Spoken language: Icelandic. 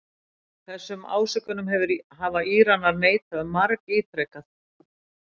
Þessum ásökunum hafa Íranar neitað margítrekað